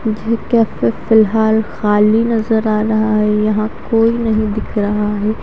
मुझे कैफ़े फ़िलहाल खली नज़र आ रहा है यहा कोई नहीं दिख रहा है ।